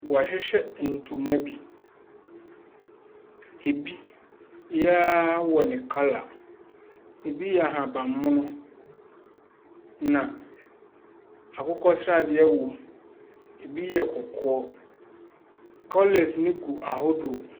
Wɔahyehyɛ ntoma bi, ɛbi biara wɔ ne colour, bi yɛ ahabanmono, na akokɔsradeɛ wɔ mu, bi yɛ kɔkɔɔ. Colours no gu ahodoɔ.